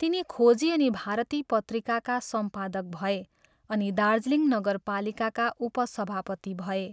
तिनी खोजी अनि भारती पत्रिकाका सम्पादक भए अनि दार्जिलिङ नगरपालिकाका उपसभापति भए।